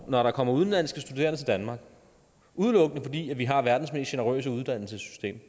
når der kommer udenlandske studerende til danmark udelukkende fordi vi har verdens mest generøse uddannelsessystem